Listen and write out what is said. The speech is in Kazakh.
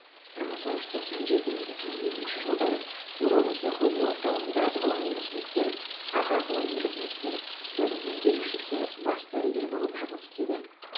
бір мың тоғыз жүз тоқсан жеті екі мың екінші жылдары урология ғылыми орталығында ғылыми қызметкер аға ғылыми қызметкер бөлім меңгерушісі бас дәрігер болып жұмыс істеді